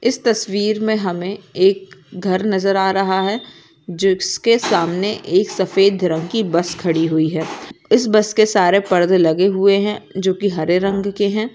इस तस्वीर मे हमे एक घर नजर आ रहा है जिसके सामने एक सफ़ेद रंगकी बस खड़ी हुई है इस बसके सारे पर्दे लगे हुए है जो की हरे रंग के है।